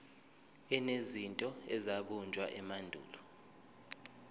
enezinto ezabunjwa emandulo